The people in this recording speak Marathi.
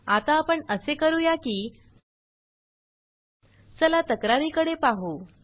आता आपण असे करूया की चला तक्रारी कडे पाहु